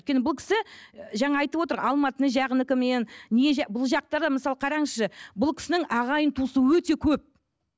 өйткені бұл кісі жаңа айтып отыр алматы бұл жақта да мысалы қараңызшы бұл кісінің ағайын туысы өте көп